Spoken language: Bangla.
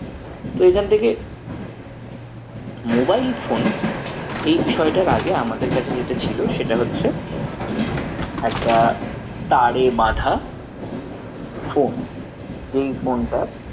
তো এখন থেকে mobile phone এই বিষয়টার আগে আমাদের কাছে যেটা ছিল সেটা হচ্ছে একটা তারে বাঁধা phone যেই phone টা